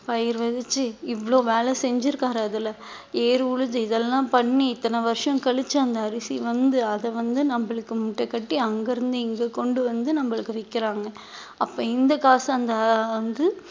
பயிர் விதைச்சு இவ்வளவு வேலை செஞ்சிருக்காரு அதுல ஏர் உழுது இதெல்லாம் பண்ணி இத்தனை வருஷம் கழிச்சு அந்த அரிசி வந்து அதை வந்து நம்மளுக்கு முட்டை கட்டி அங்கிருந்து இங்க கொண்டு வந்து நம்மளுக்கு விக்கிறாங்க அப்ப இந்த காசு அந்த வந்து